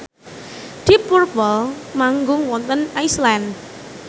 deep purple manggung wonten Iceland